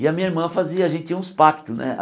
E a minha irmã fazia, a gente tinha uns pactos, né?